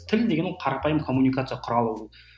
тіл деген ол қарапайым коммуникация құрал ол